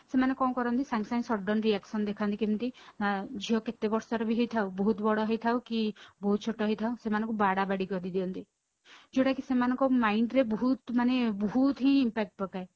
ସେମାନେ କଣ କରନ୍ତି ସେମାନେ ସାଙ୍ଗେସାଙ୍ଗେ sudden reaction ଦେଖାନ୍ତି କେମିତି ନା ଝିଅ କେତେ ବର୍ଷର ବି ହେଇଥାଉ ବହୁତ ବଡ ହେଇଥାଉ କି ବହୁତ ଛୋଟେ ହେଇଥାଉ ସେମାନଙ୍କୁ ବାଡାବାଡି କରିଦିଅନ୍ତି ଯୋଉଟାକି ସେମାନଙ୍କ mind ରେ ବହୁତ ମାନେ ବହୁତ ହିଁ impact ପକାଏ